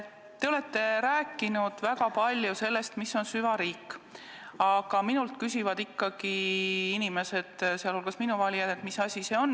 Te olete väga palju rääkinud sellest, mis on süvariik, aga minult küsivad inimesed, sh minu valijad, et mis asi see on.